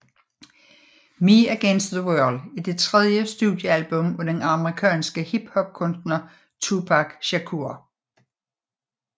Me Against the World er det tredje studiealbum af den amerikanske hip hop kunstner Tupac Shakur